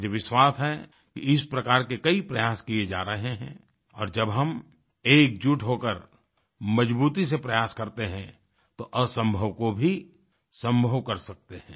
मुझे विश्वास है कि इस प्रकार के कई प्रयास किये जा रहे हैं और जब हम एकजुट होकर मजबूती से प्रयास करते हैं तो असम्भव को भी सम्भव कर सकते हैं